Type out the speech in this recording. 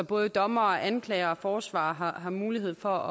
både dommer anklager og forsvarer har mulighed for